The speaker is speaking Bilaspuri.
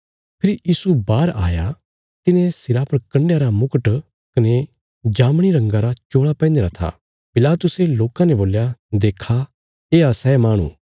फेरी यीशु बाहर आया तिने सिरा पर कण्डयां रा मुकट कने जामनी रंगा रा चोल़ा पैहनीरा था पिलातुसे लोकां ने बोल्या देक्खा येआ सै माहणु